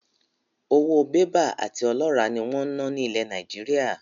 Owó Bébà àti ọlọ́rà ni wọn ń na ni ilẹ̀ Nàìjíríà.